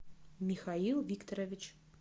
михаил викторович